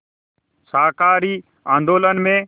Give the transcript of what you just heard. शाकाहारी आंदोलन में